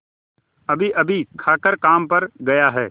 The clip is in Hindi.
अभीअभी खाकर काम पर गया है